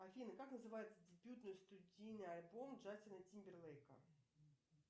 афина как называется дебютный студийный альбом джастина тимберлейка